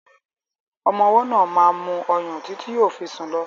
Ọmọ ọwọ́ náà máa mu ọyàn títí yóò fi sùn lọ.